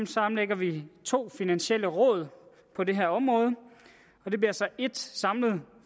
sammenlægger vi to finansielle råd på det her område og det bliver så ét samlet